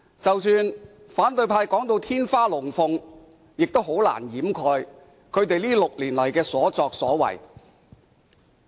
即使反對派說得"天花龍鳳"，亦難以掩飾他們6年來的所作所為。